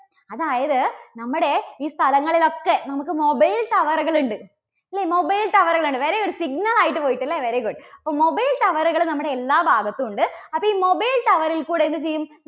അതായത് നമ്മുടെ ഈ സ്ഥലങ്ങളിലൊക്കെ നമുക്ക് mobile tower കൾ ഇണ്ട്. അല്ലേ? mobile tower കൾ ഉണ്ട്. very good. Signal ആയിട്ട് പോയിട്ട് അല്ലേ? very good അപ്പോ mobile tower കൾ നമ്മുടെ എല്ലാ എല്ലാ ഭാഗത്തും ഉണ്ട്. അപ്പോ ഈ mobile tower ൽ കൂടെ എന്തു ചെയ്യും?